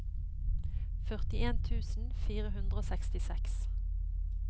førtien tusen fire hundre og sekstiseks